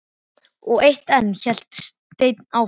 Og eitt enn hélt Stein áfram.